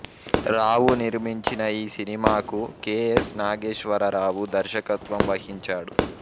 రావు నిర్మించిన ఈ సినిమాకు కె ఎస్ నాగేశ్వరరావు దర్శకత్వం వహించాడు